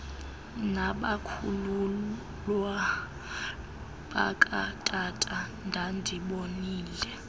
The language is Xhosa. nabakhuluwa bakatata ndandibolile